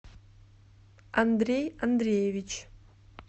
андрей андреевич